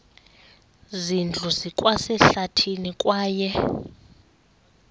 zindlu zikwasehlathini kwaye